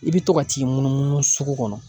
I bɛ to ka t'i munumunu sugu kɔnɔ.